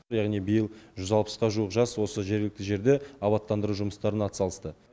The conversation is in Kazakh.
яғни биыл жүз алпысқа жуық жас осы жергілікті жерде абаттандыру жұмыстарына атсалысты